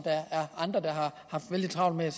andre har haft vældig travlt med